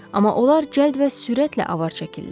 Amma onlar cəld və sürətlə avar çəkirlər.